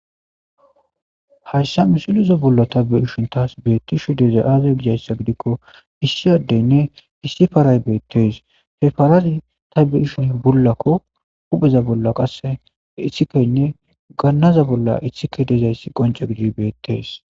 Hayssa musilizo bollo tabbe ishun taas beettishu deza aaza gijayssa gidikko issiyaddeynne issi faray beettees he farazi tabe ishin bollakko hupheza bolla qasse issikaynne gannaza bolla issike dezayssi qonco gidi beettees